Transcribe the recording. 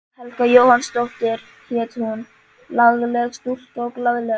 Helga Jóhannsdóttir hét hún, lagleg stúlka og glaðleg.